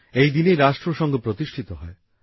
এই দিনেই রাষ্ট্রসংঘ প্রতিষ্ঠিত হয়